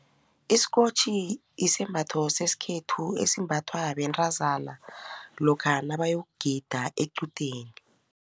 Isikotjhi isembatho sesikhethu esimbathwa bentazana lokha nabayokugida equdeni.